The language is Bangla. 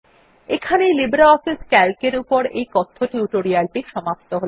এখানেই লিব্রিঅফিস সিএএলসি এর এই কথ্য টিউটোরিয়াল টি সমাপ্ত হল